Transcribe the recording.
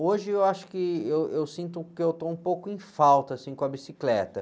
Hoje eu acho que eu, eu sinto que eu estou um pouco em falta, assim, com a bicicleta.